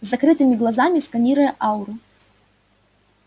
с закрытыми глазами сканируя ауру